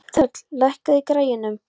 Þöll, lækkaðu í græjunum.